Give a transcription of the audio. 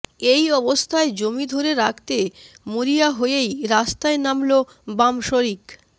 এই অবস্থায় জমি ধরে রাখতে মরিয়া হয়েই রাস্তায় নামল বাম শরিক